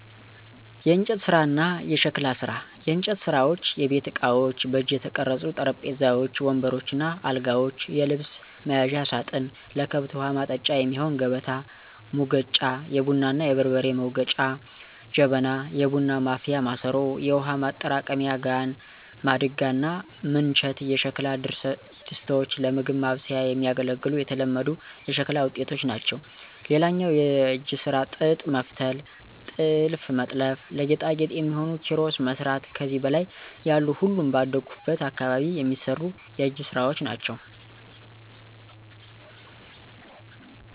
**የእንጨት ስራ እና የሸክላ ስራ፦ *የእንጨት ስራዎች * የቤት እቃዎች: በእጅ የተቀረጹ ጠረጴዛዎች፣ ወንበሮች እና አልጋዎች፣ የልብስ መያዣ ሳጥን፣ ለከብት ውሀ ማጠጫ የሚሆን ከበታ፣ ሙገጫ(የቡና እና የበርበሬ መውገጫ) ጀበና (የቡና ማፍያ ማሰሮ)፣ የውሃ ማጠራቀሚያ ጋን፣ ማድጋ እና ምንቸት የሸክላ ድስቶች ለምግብ ማብሰያ የሚያገለግሉ የተለመዱ የሸክላ ውጤቶች ናቸው። *ሌላው የእጅ ስራ ጥጥ መፍተል *ጥልፍ መጥለፍ *ለጌጣጌጥ የሚሆኑ ኪሮስ መስራት ከዚህ በላይ ያሉ ሁሉም ባደኩበት አካባቢ የሚሰሩ የእጅ ስራወች ናቸው።